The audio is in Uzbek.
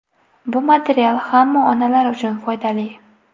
Bu material hamma onalar uchun foydali.